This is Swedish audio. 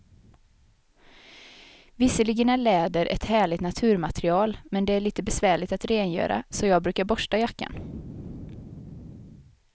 Visserligen är läder ett härligt naturmaterial, men det är lite besvärligt att rengöra, så jag brukar borsta jackan.